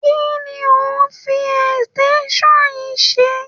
Kí ni o fi extension yìí ṣe?